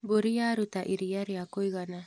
Mbũri yaruta iria ria kũigana.